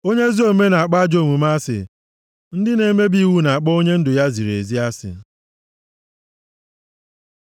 Onye ezi omume na-akpọ ajọ omume asị; ndị na-emebi iwu na-akpọ onye ndụ ya ziri ezi asị.